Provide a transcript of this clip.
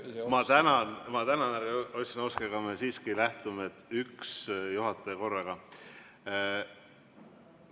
Ma tänan, härra Ossinovski, aga me siiski lähtume sellest, et üks juhataja korraga!